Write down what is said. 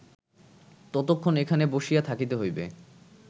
ততক্ষন এখানে বসিয়া থাকিতে হইবে